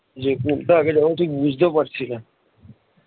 যে কোনটা আগে যাবো ঠিক বুঝতেও পারছি না